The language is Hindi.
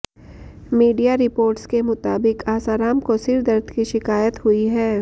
मीडिया रिपोर्ट्स के मुताबिक आसाराम को सिर दर्द की शिकायत हुई है